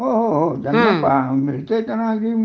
हो हो त्यांना मिळतंय त्यांना अगदी खूपच मिळतंय